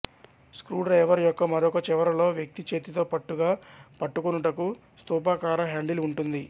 screwdriver యొక్క మరొక చివరలో వ్యక్తి చేతితో పట్టుగా పట్టుకొనుటకు స్థూపాకార హ్యాండిల్ ఉంటుంది